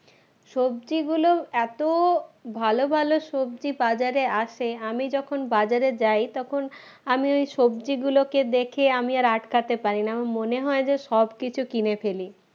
সবজিগুলো এত ভালো ভালো সবজি বাজারে আসে আমি যখন বাজারে যাই তখন আমি ঐ সবজি গুলোকে দেখে আমি আর আটকাতে পারি না, আমার মনে হয় যে সবকিছু কিনে ফেলি